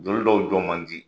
Joli dɔw jɔ man di